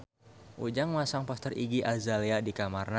Ujang masang poster Iggy Azalea di kamarna